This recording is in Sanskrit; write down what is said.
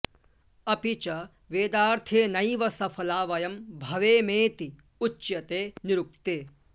अपि च वेदार्थेनैव सफला वयं भवेमेति उच्यते निरुक्ते